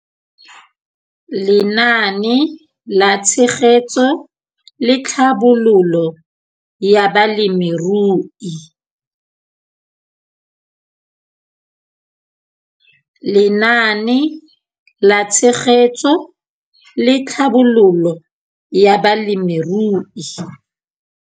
Lenaane la Tshegetso le Tlhabololo ya Balemirui